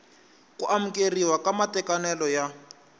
ku amukeriwa ka matekanelo ya